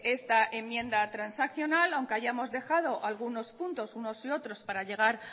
esta enmienda transaccional aunque hayamos dejado algunos puntos unos y otros para llegar